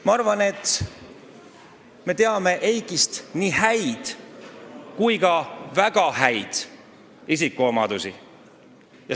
Ma arvan, et me teame nii Eiki häid kui ka väga häid isikuomadusi.